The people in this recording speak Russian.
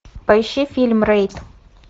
поищи фильм рейд